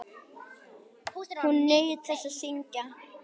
Hún naut þess að syngja.